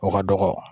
O ka dɔgɔ